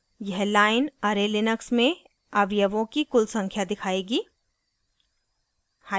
यह line array Linux में अवयवों की कुल संख्या दिखाएगी